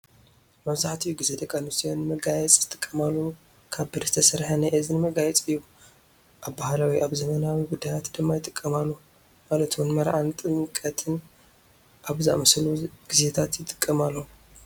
መብዛሒትኡ ግዜ ደቂ ኣንስተዮ ንመጋየፂ ዝጥቀማሉ ካብ ብሪ ዝተሰረሐ ናይ እዚኒ መጋየፂ እዩ። ኣብ ባህላዊ ኣብ ዘመናዊን ጉዳያት ድማ ይጥቀማሉ። ማለት እውን መርዓን ጥምቀትን ኣብ ዝኣመሰሉ ግዜታት ይጥቀማሎም።